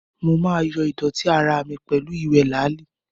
Mo máa yo¸idọ̀tí ara mi pẹ̀lú ewé làálì.